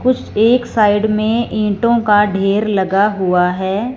कुछ एक साइड में ईटों का ढेर लगा हुआ है।